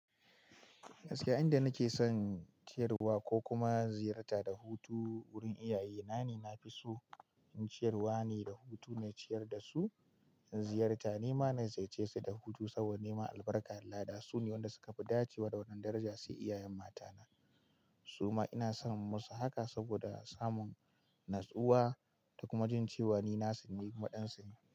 Gaskiya, inda nake son ciyarwa ko kuma ziyarta da hutu wurin iyaye na ne, na fi so in ciyarwa ne da hutu na ciyar da su. In ziyarta, nema na zai ce su da hutu saboda neman albarka Allah da su ne waɗanda suka fi dace wa da wannan daraja, sai iyayen matana. Suma ina son musu haka saboda samun natsuwa da kuma jin cewa ni nasu ne kuma ɗan su ne.